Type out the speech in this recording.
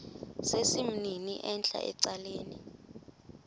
sesimnini entla ecaleni